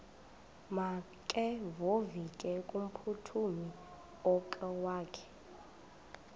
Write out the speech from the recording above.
makevovike kumphuthumi okokwakhe